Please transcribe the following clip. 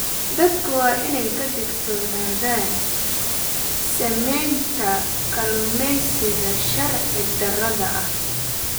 Dadku waa inay ka digtoonaadaan saamaynta kalluumaysiga sharci darrada ah.